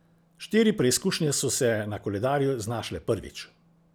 Štiri preizkušnje so se na koledarju znašle prvič.